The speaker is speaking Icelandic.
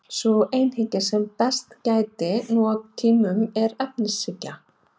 Sú einhyggja sem mest gætir nú á tímum er efnishyggja.